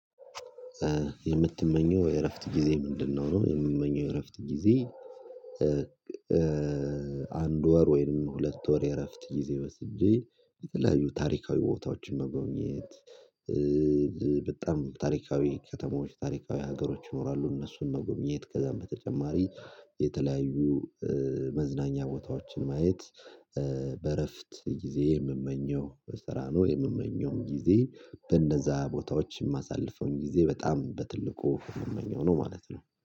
የምትመኘው የእረፍት ጊዜ ምንድነው? የምትመኘው የእረፍት ጊዜ አንድ ወር ወይንም ሁለት ወር የእረፍት ጊዜ ወስጄ የተለያዩ ታሪካዊ ቦታዎችን መጎኘት። በጣም ታሪካዊ ከተሞች ታሪካዊ ሀገሮች ይኖራሉ። እነሱን መጎብኘት ከዛም በተጨማሪ የተለያዩ መዝናኛ ቦታዎችን ማየት። በእረፍት ጊዜ የምመኘው በስራ ነው የምመኘውም ጊዜ በእነዛ ቦታዎች የማሳልፈውን ጊዜ በጣም በትልቁ የምመኘው ነው ማለት ነው